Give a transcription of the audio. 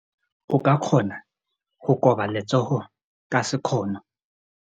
O ka kgona go koba letsogo ka sekgono.